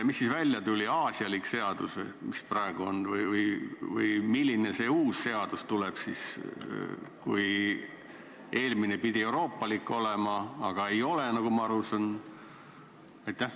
Mis siis välja tuli, aasialik seadus või, mis praegu on, või milline see uus seadus siis tuleb, kui eelmine pidi euroopalik olema, aga ei ole, nagu ma aru saan?